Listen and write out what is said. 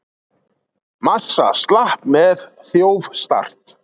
Massa slapp með þjófstart